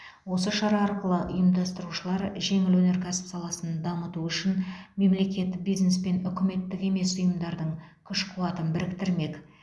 осы шара арқылы ұйымдастырушылар жеңіл өнеркәсіп саласын дамыту үшін мемлекет бизнес пен үкіметтік емес ұйымдардың күш қуатын біріктірмек